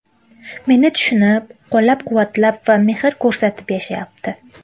Meni tushunib, qo‘llab-quvvatlab va mehr ko‘rsatib yashayapti!